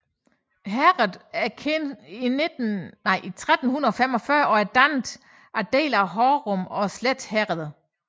Herredet er kendt i 1345 og er dannet af dele af Hornum og Slet Herreder